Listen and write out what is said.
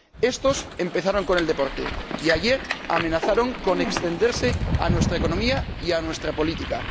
Estos empezaron con el deporte y ayer amenazaron con extenderse a nuestra economía y a nuestra política.